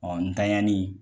ntanɲanli